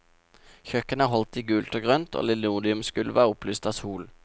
Kjøkkenet er holdt i gult og grønt, og linoleumsgulvet er opplyst av sol.